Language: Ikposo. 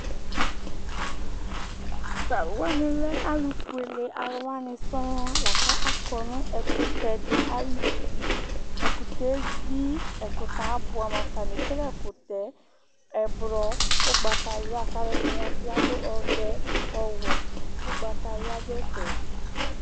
T'alʋwanilɛ alʋfuele alʋwani sɔɔŋ lakʋ akɔ nʋ ɛkʋtɛ di ayuti, ɛkʋtɛ yɛ evi, ɛkʋtɛ abʋɛ amʋ, atani ekele ɛkʋtɛ ɔblɔ, ʋgbatawla, k'alʋ ɛdini bi adʋ ɔvɛ, ɔwɛ, ʋgbatawla dʋ ɛfɛ